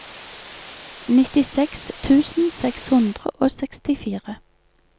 nittiseks tusen seks hundre og sekstifire